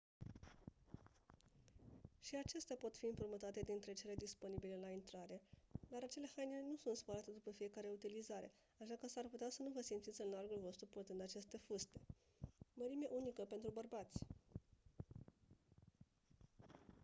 și acestea pot fi împrumutate dintre cele disponibile la intrare dar acele haine nu sunt spălate după fiecare utilizare așa că s-ar putea să nu vă simțiți în largul vostru purtând aceste fuste mărime unică pentru bărbați